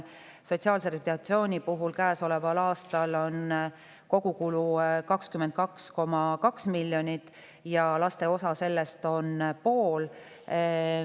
Sotsiaalse rehabilitatsiooni kogukulu käesoleval aastal on 22,2 miljonit ja laste osa sellest on pool.